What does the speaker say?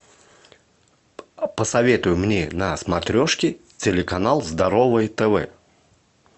посоветуй мне на смотрешке телеканал здоровое тв